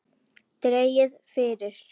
Dregið fyrir.